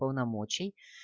полномочий